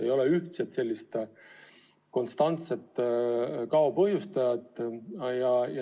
Ei ole sellist ühtset, konstantset kao põhjustajat.